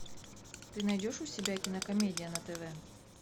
ты найдешь у себя кинокомедия на тв